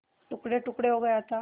टुकड़ेटुकड़े हो गया था